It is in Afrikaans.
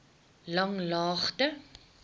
langlaagte